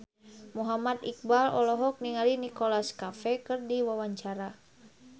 Muhammad Iqbal olohok ningali Nicholas Cafe keur diwawancara